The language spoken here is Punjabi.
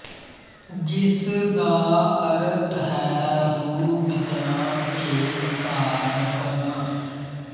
ਜਿਸ ਦਾ ਅਰਥ ਹੈ ਰੂਪ ਜਾਂ ਭੇਖ ਧਾਰਨ ਕਰਨਾ